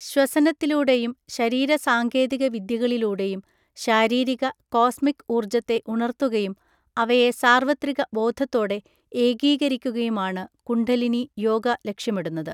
ശ്വസനത്തിലൂടെയും ശരീര സാങ്കേതിക വിദ്യകളിലൂടെയും ശാരീരിക, കോസ്മിക് ഊർജ്ജത്തെ ഉണർത്തുകയും, അവയെ സാർവത്രിക ബോധത്തോടെ ഏകീകരിക്കുകയുമാണ് കുണ്ഡലിനി യോഗ ലക്ഷ്യമിടുന്നത്.